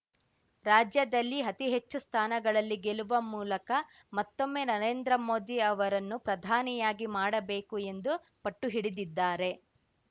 ರಾಜ್ಯದಲ್ಲಿ ಅತಿಹೆಚ್ಚು ಸ್ಥಾನಗಳಲ್ಲಿ ಗೆಲ್ಲುವ ಮೂಲಕ ಮತ್ತೊಮ್ಮೆ ನರೇಂದ್ರ ಮೋದಿ ಅವರನ್ನು ಪ್ರಧಾನಿಯಾಗಿ ಮಾಡಬೇಕು ಎಂದು ಪಟ್ಟುಹಿಡಿದಿದ್ದಾರೆ